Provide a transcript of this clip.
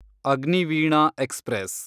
Agniveena express